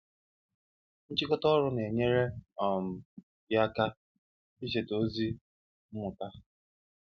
Nchịkọta ọrụ na-enyere um gị aka icheta ozi mmụta.